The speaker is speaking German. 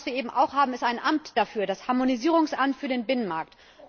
Aber was wir eben auch haben, ist ein Amt dafür das Harmonisierungsamt für den Binnenmarkt.